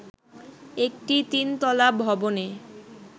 একটি তিনতলা ভবনে